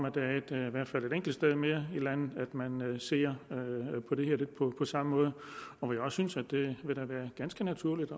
at der i hvert fald er et enkelt sted mere i landet hvor man ser på det her lidt på samme måde og jeg synes også det vil være ganske naturligt